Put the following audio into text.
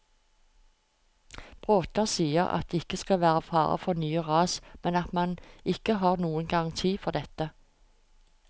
Bråta sier at det ikke skal være fare for nye ras, men at man ikke har noen garanti for dette.